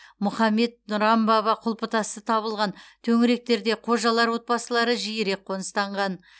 мұхаммед нұран баба құлпытасы табылған төңіректерде қожалар отбасылары жиірек қоныстанған